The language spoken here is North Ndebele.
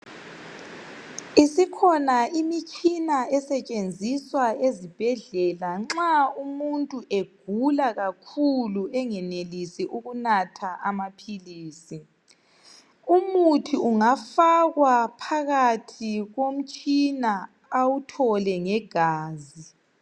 Isikhona imitshina esetshenziswa ezibhedlela nxa umuntu egula kakhulu engenelisi ukunatha amaphilisi. Umuthi ungafakwa phakathi komtshina awuthole ngegazi.